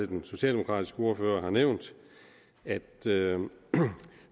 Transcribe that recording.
den socialdemokratiske ordfører allerede har nævnt at